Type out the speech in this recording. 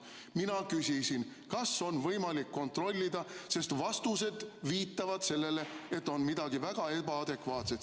Mina küsisin, kas on võimalik kontrollida, sest vastused viitavad sellele, et siin on midagi väga ebaadekvaatset.